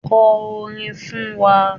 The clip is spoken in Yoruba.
Kọ orin fún wa.